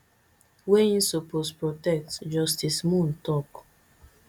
wey im suppose protect justice moon talk